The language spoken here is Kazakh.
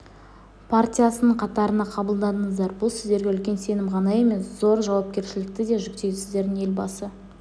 партиясының қатарына қабылдандыңыздар бұл сіздерге үлкен сенім ғана емес зор жауапкершілік те жүктейді сіздердің елбасы